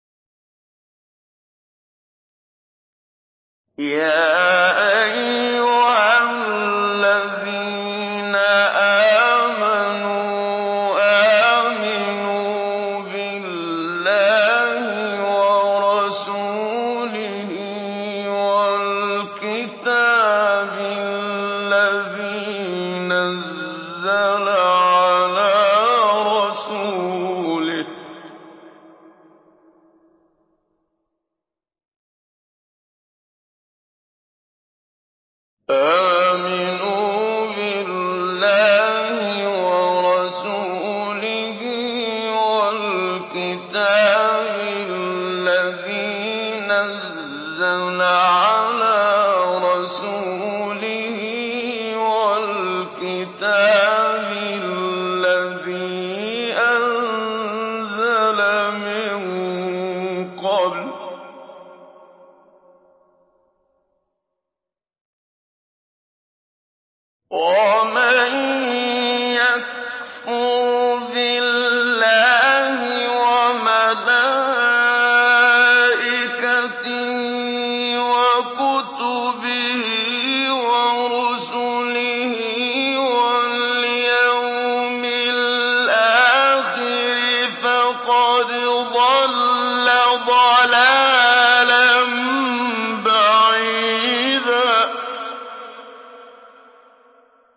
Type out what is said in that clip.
يَا أَيُّهَا الَّذِينَ آمَنُوا آمِنُوا بِاللَّهِ وَرَسُولِهِ وَالْكِتَابِ الَّذِي نَزَّلَ عَلَىٰ رَسُولِهِ وَالْكِتَابِ الَّذِي أَنزَلَ مِن قَبْلُ ۚ وَمَن يَكْفُرْ بِاللَّهِ وَمَلَائِكَتِهِ وَكُتُبِهِ وَرُسُلِهِ وَالْيَوْمِ الْآخِرِ فَقَدْ ضَلَّ ضَلَالًا بَعِيدًا